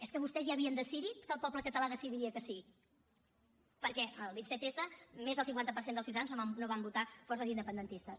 és que vostès ja havien decidit que el poble català decidiria que sí perquè el vint set s més del cinquanta per cent dels ciutadans no van votar forces independentistes